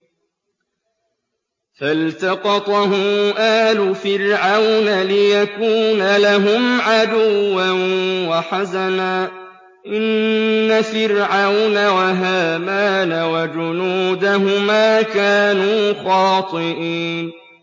فَالْتَقَطَهُ آلُ فِرْعَوْنَ لِيَكُونَ لَهُمْ عَدُوًّا وَحَزَنًا ۗ إِنَّ فِرْعَوْنَ وَهَامَانَ وَجُنُودَهُمَا كَانُوا خَاطِئِينَ